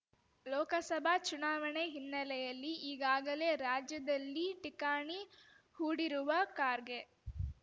ಲೋಕಸಭಾ ಚುನಾವಣೆ ಹಿನ್ನೆಲೆಯಲ್ಲಿ ಈಗಾಗಲೇ ರಾಜ್ಯದಲ್ಲಿ ಠಿಕಾಣಿ ಹೂಡಿರುವ ಖಾರ್ಗೆ